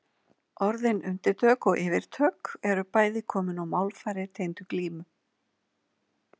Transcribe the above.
Orðin undirtök og yfirtök eru bæði komin úr málfari tengdu glímu.